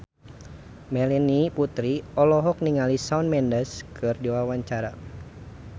Melanie Putri olohok ningali Shawn Mendes keur diwawancara